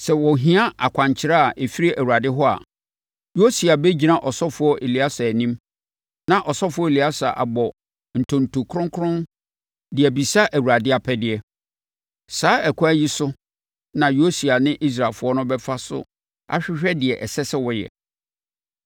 Sɛ wɔhia akwankyerɛ a ɛfiri Awurade hɔ a, Yosua bɛgyina ɔsɔfoɔ Eleasa anim, na ɔsɔfoɔ Eleasa abɔ ntonto kronkron de abisa Awurade apɛdeɛ. Saa ɛkwan yi so na Yosua ne Israelfoɔ no bɛfa so ahwehwɛ deɛ ɛsɛ sɛ wɔyɛ.”